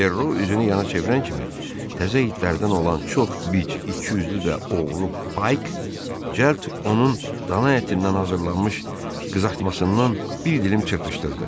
Perro üzünü yana çevirən kimi, təzə itlərdən olan çox bic, ikiyüzlü və oğru Bayk cəld onun dana ətindən hazırlanmış qızartmasından bir dilim çırpışdırdı.